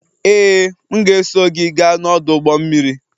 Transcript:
Ee, m ga-eso gị gaa n'ọdụ ụgbọ mmiri